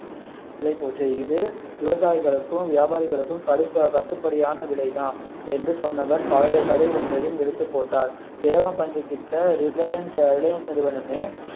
விலை போச்சு இது விவசாயிகளுக்கும் வியாபாரிகளுக்கும் கடுப்பு கட்டுப்படியான விலை தான் பழைய கதை ஒன்றையும் எடுத்து போட்டார் இலவம் பஞ்சு கிட்ட ரிலையன்ஸ் ரிலையன்ஸ் நிறுவனமே